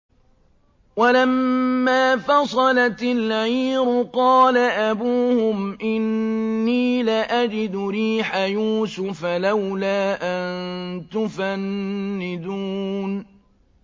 وَلَمَّا فَصَلَتِ الْعِيرُ قَالَ أَبُوهُمْ إِنِّي لَأَجِدُ رِيحَ يُوسُفَ ۖ لَوْلَا أَن تُفَنِّدُونِ